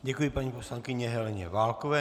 Děkuji paní poslankyni Heleně Válkové.